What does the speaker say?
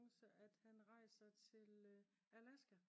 at han rejser til Alaska